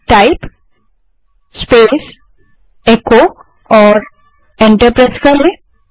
type space echo और enter दबायें